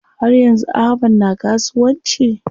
Har yanzu Ahmad na kasuwanci?